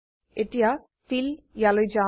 এতিয়া ফিল ইয়ালৈ যাও